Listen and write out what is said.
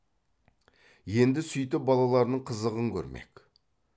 енді сүйтіп балаларының қызығын көрмек